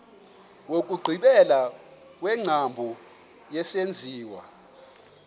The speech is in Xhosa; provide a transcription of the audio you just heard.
wokugqibela wengcambu yesenziwa